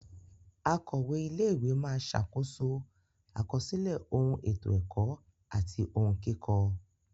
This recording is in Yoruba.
Akọ̀we ilé ìwé máa ṣàkóso àkọsílẹ̀ ohun ètò ẹ̀kọ́ àti ohun kíkọ.